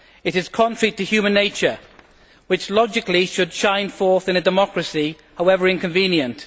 It is contrary to human nature, which logically should shine forth in a democracy, however inconvenient.